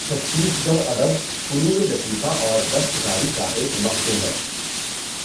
چھتیس گڑھ ادب، فنونِ لطیفہ اور دستکاری کا ایک مخزن ہے،